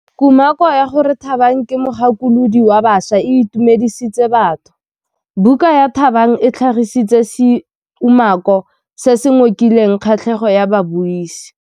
Kumakô ya gore Thabang ke mogakolodi wa baša e itumedisitse batho. Buka ya Thabang e tlhagitse seumakô se se ngokileng kgatlhegô ya babuisi.